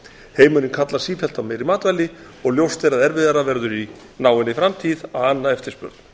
heimurinn kallar sífellt á meiri matvæli og ljóst er að erfiðara verður í náinni framtíð að anna eftirspurn